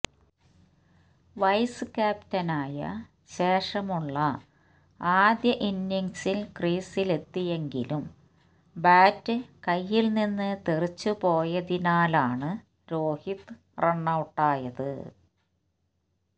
vice ക്യാപ്റ്റനായ ശേഷമുള്ള ആദ്യ ഇന്നിംഗ്സിൽ ക്രീസിലെത്തിയെങ്കിലും ബാറ്റ് കൈയിൽനിന്ന് തെറിച്ചു പോയതിനാലാണ് രോഹിത് റണ്ണൌട്ടായത്